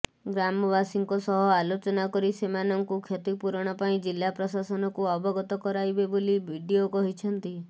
ଗ୍ରାମବାସୀଙ୍କ ସହ ଆଲୋଚନା କରି ସେମାନଙ୍କୁ କ୍ଷତିପୂରଣ ପାଇଁ ଜିଲ୍ଲା ପ୍ରଶାସନକୁ ଅବଗତ କରାଇବେ ବୋଲି ବିଡିଓ କହିଛନ୍ତି